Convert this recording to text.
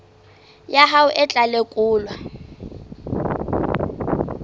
ya hao e tla lekolwa